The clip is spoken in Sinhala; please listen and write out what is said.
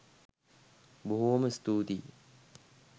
බොහෝ.ම ස්තූතියි!